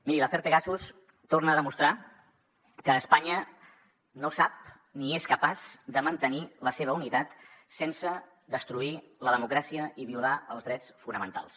miri l’afer pegasus torna a demostrar que espanya no sap ni és capaç de mantenir la seva unitat sense destruir la democràcia ni violar els drets fonamentals